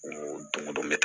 O don o don ne